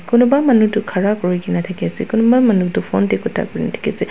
kunuba manu tho ghara kuri kina diki ase kunuba manu tho phone dae kuta kurina diki ase.